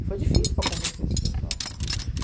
E foi difícil para convencer esse pessoal.